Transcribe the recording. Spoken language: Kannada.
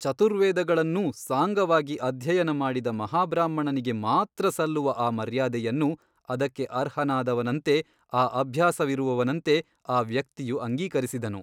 ಚತುರ್ವೇದಗಳನ್ನೂ ಸಾಂಗವಾಗಿ ಅಧ್ಯಯನಮಾಡಿದ ಮಹಾಬ್ರಾಹ್ಮಣನಿಗೆ ಮಾತ್ರ ಸಲ್ಲುವ ಆ ಮರ್ಯಾದೆಯನ್ನು ಅದಕ್ಕೆ ಅರ್ಹನಾದವನಂತೆ ಆ ಅಭ್ಯಾಸವಿರುವವನಂತೆ ಆ ವ್ಯಕ್ತಿಯು ಅಂಗೀಕರಿಸಿದನು.